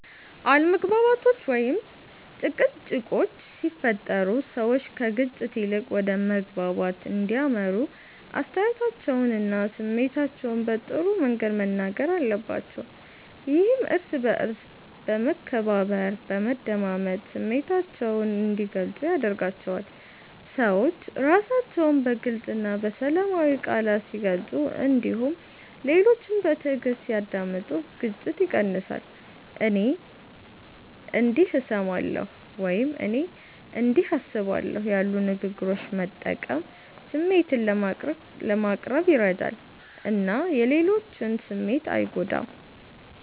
አለመግባባቶች ወይም ጭቅጭቆች ሲፈጠሩ ሰዎች ከግጭት ይልቅ ወደ መግባባት እንዲያመሩ አስተያየታቸውንና ስሜታቸውን በጥሩ መንገድ መናገር አለባቸው። ይህም እርስ በእርስ በመከባበር፣ በመደማመጥ ስሜታቸውን እንዲገልጹ ያደርጋቸዋል። ሰዎች ራሳቸውን በግልፅ እና በሰላማዊ ቃላት ሲገልጹ እንዲሁም ሌሎችን በትዕግስት ሲያዳምጡ ግጭት ይቀንሳል። “እኔ እንዲህ እሰማለሁ” ወይም “እኔ እንዲህ አስባለሁ” ያሉ ንግግሮችን መጠቀም ስሜትን ለማቅረብ ይረዳል እና የሌሎችን ስሜት አይጎዳም።